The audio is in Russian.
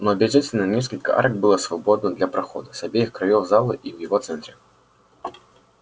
но обязательно несколько арок было свободно для прохода с обеих краёв зала и в его центре